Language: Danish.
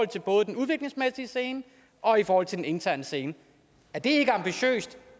til både den udviklingsmæssige scene og i forhold til den interne scene er det ikke ambitiøst